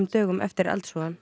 dögum eftir eldsvoðann